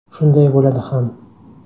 Shunday bo‘ladi ham.